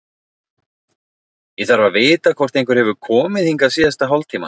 Ég þarf að vita hvort einhver hefur komið hingað síðasta hálftímann.